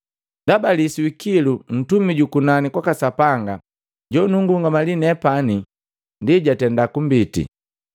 Ndaba lisu hikilu ntumi juku nani kwaka Sapanga jonungungamali nepani ndi jwaki jatenda kumbiti,